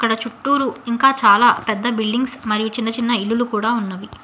నా చుట్టురు ఇంకా చాలా పెద్ద బిల్డింగ్స్ మరియు చిన్న చిన్న ఇల్లులు కూడా ఉన్నవి.